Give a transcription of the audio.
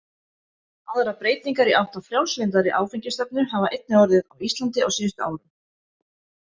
Aðrar breytingar í átt að frjálslyndari áfengisstefnu hafa einnig orðið á Íslandi á síðustu árum.